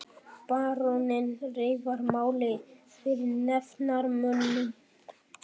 Baróninn reifaði málið fyrir nefndarmönnum.